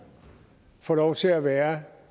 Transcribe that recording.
får lov til at være